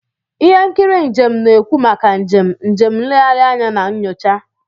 Ihe nkiri njem na-ekwu maka njem, njem nlegharị anya na nyocha.